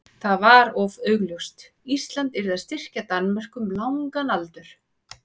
það var of augljóst: Ísland yrði að styrkja Danmörku um langan aldur.